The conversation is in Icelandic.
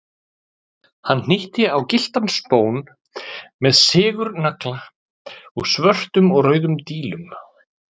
Hann hnýtti á gylltan spón með sigurnagla og svörtum og rauðum dílum.